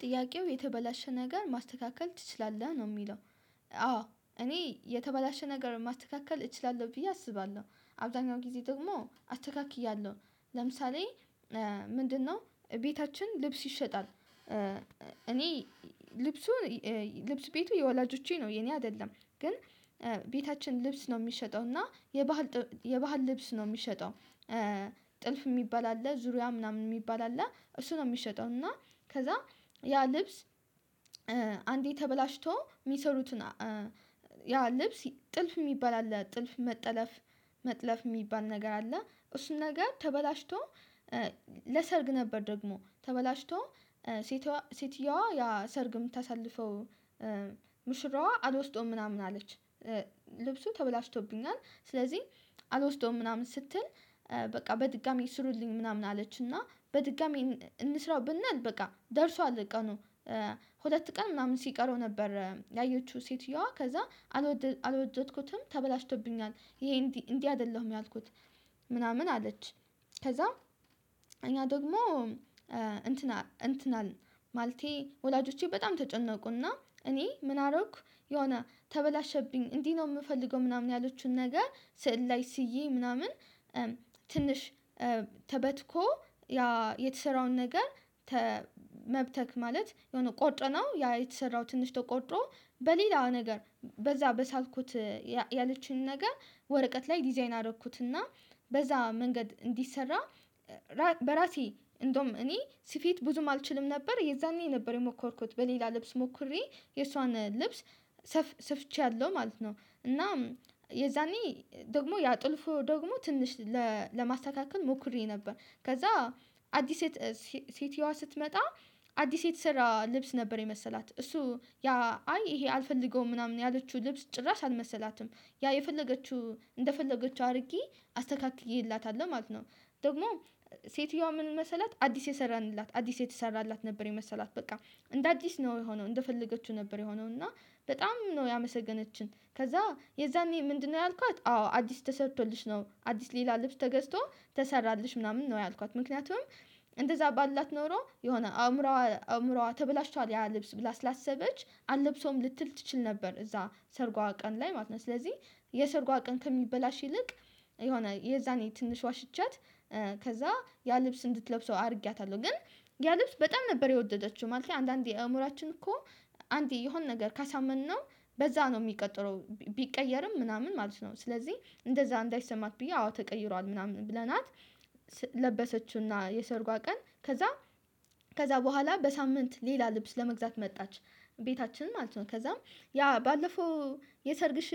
ጥያቄው የተበላሸ ነገር ማስተካከል ትችላለህ ነው የሚለው? አዎ እኔ የተበላሸ ነገር ማስተካከል እችላለሁ ብዬ አስባለሁ አብዛኛው ጊዜ ደግሞ አስተካክያለሁ። ለምሳሌ ምንድነው ቤታችን ልብስ ይሸጣል። እኔ ልብሱን ልብስ ቤቱ የወላጆቼ ነው የኔ አይደለም። ግን ቤታችን ልብስ ነው የሚሸጠው እና የባህል የባህል ልብስ ነው የሚሸጠው። ጥልፍ የሚባል አለ ዙሪያ ምናምን የሚባል አለ እሱ ነው የሚሸጠው እና ከዛ ያ ልብስ። አንዴ ተበላሽቶ የሚሰሩትን ያ ልብስ ጥልፍ የሚባል አለ ጥልፍ መጠለፍ መጥለፍ የሚባል ነገር አለ እሱን ነገር ተበላሽቶ። ለሰርግ ነበር ደግሞ ተበላሽቶ ሴትየዋ ያ ሰርግ የምታሳልፈው ሙሽራዋ አልወስደውም ምናምን አለች። ልብሱ ተበላሽቶብኛል ስለዚህ አልወስደውም ምናምን ስትል በቃ በድጋሚ ስሩልኝ ምናምን አለች። እና በድጋሚ እንስራው ብንል በቃ ደርሷል ቀኑ ሁለት ቀን ምናምን ሲቀረው ነበር። ያየችው ሴትየዋ ከዛ አልወደድኩትም ተበላሽቶብኛል ይሄ እንዲህ እንዲህ አይደለሁም ያልኩት ምናምን አለች። ከዛ እኛ ደግሞ እንትና እንትናን ማልቴ ወላጆቼ በጣም ተጨነቁና እኔ ምን አደረኩ የሆነ ተበላሸብኝ እንዲህ ነው የምፈልገው ምናምን ያለችውን ነገር ስዕል ላይ ስዬ ምናምን ትንሽ ተበትኮ ያ የተሰራውን ነገር። መብተክ ማለት የሆነ ቆርጠነው ያ የተሰራው ትንሽ ተቆርጦ በሌላ ነገር በዛ በሳልኩት ያለችን ነገር ወረቀት ላይ ዲዛይን አደረኩትና በዛ መንገድ እንዲሰራ በራሴ እንደውም እኔ ስፌት ብዙም አልችልም ነበር የዛኔ ነበር የሞከርኩት በሌላ ልብስ ሞክሬ የእሷን ልብስ ሰፍቼያለሁ ማለት ነው። እና የዛኔ ደግሞ ያ ጥልፉ ደግሞ ትንሽ ለማስተካከል ሞክሬ ነበር። ከዛ አዲስ ሴት ሴትየዋ ስትመጣ አዲስ የተሰራ ልብስ ነበር የመሰላት እሱ ያ አይ ይሄ አልፈልገውም ምናምን ያለችው ልብስ ጭራሽ አልመሰላትም ያ የፈለገችው እንደፈለገችው አድርጌ አስተካክዬላታለሁ ማለት ነው። ደግሞ ሴትየዋ ምን መሰላት አዲስ የሰራንላት አዲስ የተሰራላት ነበር የመሰላት በቃ እንደ አዲስ ነው የሆነው እንደፈለገችው ነበር የሆነው። እና በጣም ነው ያመሰገነችን ከዛ የዛኔ ምንድነው ያልኳት አዎ አዲስ ተሰርቶልሽ ነው አዲስ ሌላ ልብስ ተገዝቶ ተሰራለሽ ምናምን ነው ያልኳት። ምክንያቱም እንደዛ ባልላት ኖሮ የሆነ አእምሮዋ አእምሮዋ ተበላሽቷል ያ ልብስ ብላ ስላሰበች አልለብሰውም ልትል ትችል ነበር እዛ ሰርጓ ቀን ላይ ማለት ነው። ስለዚህ የሰርጓ ቀን ከሚበላሽ ይልቅ የሆነ የዛኔ ትንሽ ዋሽቻት ከዛ ያ ልብስ እንድትለብሰው አድርጌያታለሁ ግን ያ ልብስ በጣም ነበር የወደደችው ማለት ነው። አንዳንዴ አእምሮአችን እኮ አንዴ የሆነ ነገር ካሳመነው በዛ ነው የሚቀጥለው ቢቀየርም ምናምን ማለት ነው። ስለዚህ እንደዛ እንዳይሰማት ብዬ አዎ ተቀይሯል ምናምን ብለናት ለበሰችውና የሰርጓ ቀን ከዛ ከዛ በኋላ በሳምንት ሌላ ልብስ ለመግዛት መጣች። ቤታችን ማለት ነው ከዛም ያ ባለፈው የሰርግሽ